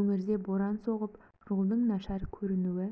өңірде боран соғып жолдың нашар көрінуі